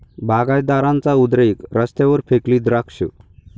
बागायतदारांचा उद्रेक, रस्त्यावर फेकली द्राक्षं